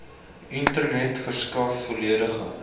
internet verskaf volledige